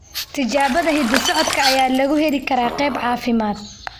Tijaabada hidda-socodka ayaa lagu heli karaa qaab caafimaad.